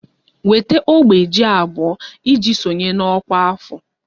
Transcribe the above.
Weta ogbe ji abụọ iji sonye na ọkwa afọ!